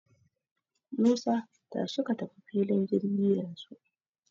Musa, tashi ka tafi filin jirgi yanzu.